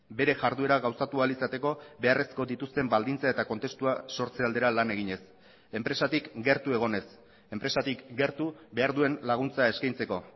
bere jarduera gauzatu ahal izateko beharrezko dituzten baldintza eta kontestua sortze aldera lan eginez enpresatik gertu egonez enpresatik gertu behar duen laguntza eskaintzeko